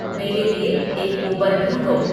मेरे लिए एक उबर ढूँढो